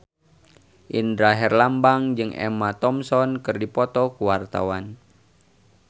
Indra Herlambang jeung Emma Thompson keur dipoto ku wartawan